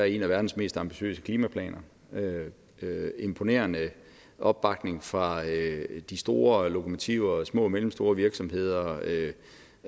en af verdens mest ambitiøse klimaplaner der er imponerende opbakning fra de store lokomotiver samt små og mellemstore virksomheder